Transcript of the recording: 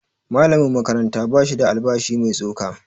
Malamin makaranta ba shi da albashi mai tsoka